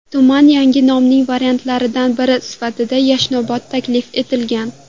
Tuman yangi nomining variantlaridan biri sifatida Yashnobod taklif etilgan.